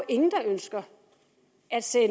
ingen der ønsker